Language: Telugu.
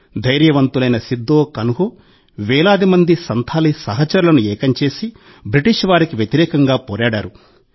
ధైర్యవంతులైన సిద్ధో కాన్హు వేలాది మంది సంథాలీ సహచరులను ఏకం చేసి బ్రిటిష్ వారికి వ్యతిరేకంగా పోరాడారు